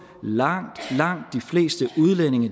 langt langt de fleste udlændinge